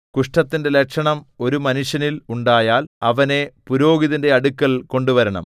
കുഷ്ഠത്തിന്റെ ലക്ഷണം ഒരു മനുഷ്യനിൽ ഉണ്ടായാൽ അവനെ പുരോഹിതന്റെ അടുക്കൽ കൊണ്ടുവരണം